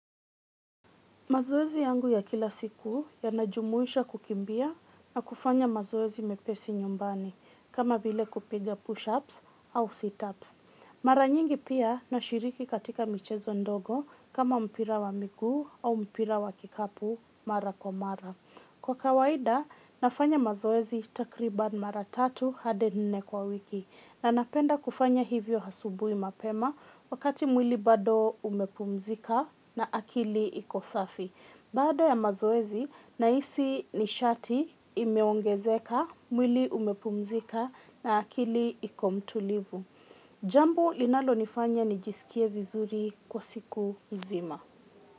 Mazoezi yangu ya kila siku ya najumuisha kukimbia na kufanya mazoezi mepesi nyumbani kama vile kupiga push-ups au situps. Mara nyingi pia na shiriki katika michezo ndogo kama mpira wa miguu au mpira wa kikapu mara kwa mara. Kwa kawaida, nafanya mazoezi takribani mara tatu hadi nne kwa wiki na napenda kufanya hivyo hasubui mapema wakati mwili bado umepumzika na akili iko safi. Baada ya mazoezi, nahisi nishati imeongezeka mwili umepumzika na akili ikomtulivu. Jambo linalo nifanya nijisikie vizuri kwa siku nzima.